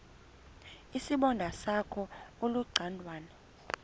isibonda sakho ulucangwana